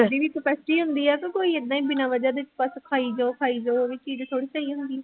capacity ਹੁੰਦੀ ਆ ਕਿ ਕੋਈ ਏਦਾਂ ਹੀ ਬਿਨਾਂ ਵਜ੍ਹਾ ਦੇ ਬਸ ਖਾਈ ਜਾਓ ਖਾਈ ਜਾਓ ਉਹ ਹੁੰਦੀ